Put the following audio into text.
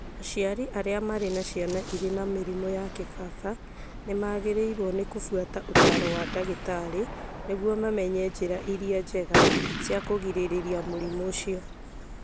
Aciari arĩa marĩ na ciana irĩ na mũrimũ wa kĩbaba nĩ magĩrĩirũo nĩ kũbuata ũtaaro wa ndagĩtarĩ nĩguo mamenye njĩra iria njega cia kũgirĩrĩria mũrimũ ũcio.